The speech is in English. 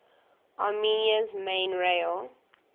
armenia's main rail